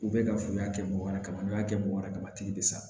U bɛ ka fu y'a kɛ mɔgɔ wɛrɛ ka n'i y'a kɛ mɔgɔ wɛrɛ ka matigi bɛ sa